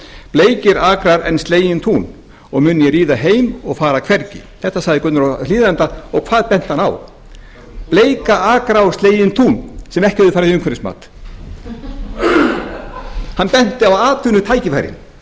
bleikir akrar og slegin tún mun ég ríða heim og fara hvergi þetta sagði gunnar á hlíðarenda og hvað benti hann á bleika akra og slegin tún sem ekki höfðu farið í umhverfismat hann benti á atvinnutækifærin